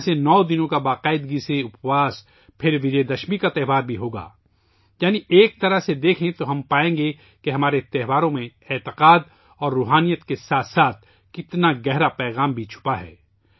یہاں سے نو دنوں کا نیم سَیّم اور اُپواس پھر وجے دشمی کے پروو کا تہوار بھی ہو گا یعنی ایک طرح سے دیکھیں تو ہم پائیں گے کہ ہمارے تہواروں میں عقیدت اور روحانیت کے ساتھ ساتھ کتنا گہرا پیغام بھی چھپا ہے